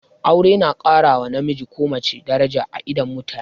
Aure na ƙara wa namiji ko mace daraja a idon mutane